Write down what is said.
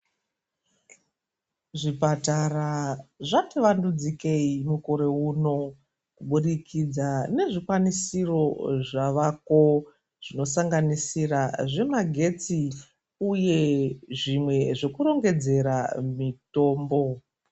Zvipatara zvativandudzikei mukore uno, kuburikidza nezvikwanisiro zvaveko, zvinosanganisire zvemagetsi nezvekurongedzera mitombo.